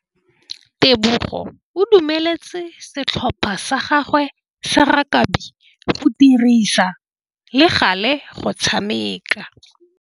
Tebogô o dumeletse setlhopha sa gagwe sa rakabi go dirisa le galê go tshameka.